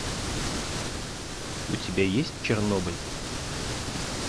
у тебя есть чернобыль